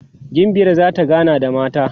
gimbiyar zata gana da mata